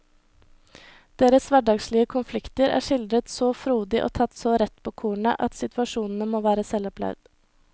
Deres hverdagslige konflikter er skildret så frodig og tatt så rett på kornet at situasjonene må være selvopplevd.